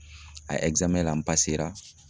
A n